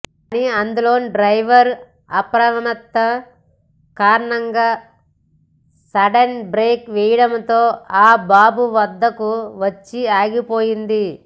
కానీ అందులోని డ్రైవర్ అప్రమత్తత కారణంగా సడెన్ బ్రేక్ వేయడంతో ఆ బాబు వద్దకు వచ్చి ఆగిపోయింది